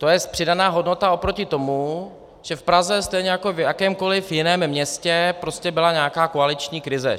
To jest přidaná hodnota oproti tomu, že v Praze stejně jako v jakémkoliv jiném městě prostě byla nějaká koaliční krize.